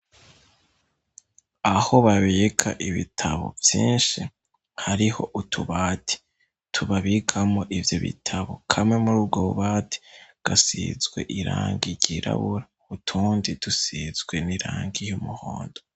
Aho babika ibitabo vyinshi hariho utubati tubabikamwo ivyo bitabo kamwe muri bgobati gasizwe irangi ryirabura utundi dusizwe n'irangi y'umuhondo.